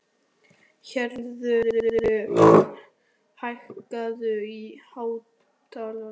Herþrúður, hækkaðu í hátalaranum.